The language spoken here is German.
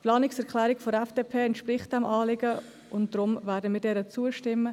Die Planungserklärung der FDP entspricht diesem Anliegen, und deshalb werden wir ihr zustimmen.